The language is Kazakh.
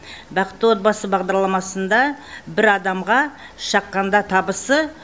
бақытты отбасы бағдарламасында бір адамға шаққанда табысы